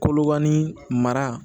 Kolokani mara